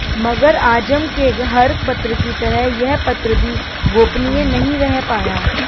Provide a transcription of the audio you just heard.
मगर आजम के हर पत्र की तरह यह पत्र भी गोपनीय नहीं रह पाया